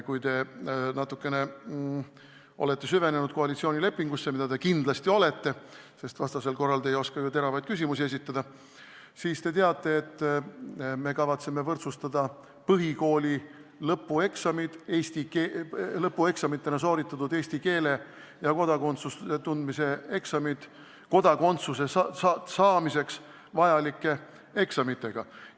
Kui te natukene olete süvenenud koalitsioonilepingusse – ja te kindlasti olete, sest vastasel korral te ei oskaks ju teravaid küsimusi esitada –, siis te teate, et me kavatseme võrdsustada põhikooli lõpueksamitena sooritatud eesti keele ja põhiseaduse tundmise eksamid kodakondsuse saamiseks vajalike eksamitega.